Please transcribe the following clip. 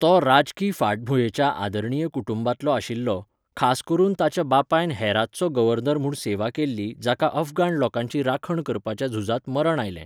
तो राजकी फाटभूंयेच्या आदरणीय कुटुंबांतलो आशिल्लो, खास करून ताच्या बापायन हेरातचो गव्हर्नर म्हणून सेवा केल्ली जाका अफगाण लोकांची राखण करपाच्या झुजांत मरण आयलें.